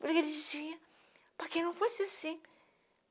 Porque ele dizia para que não fosse assim.